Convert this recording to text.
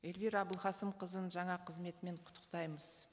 эльвира әбілқасымқызын жаңа қызметімен құттықтаймыз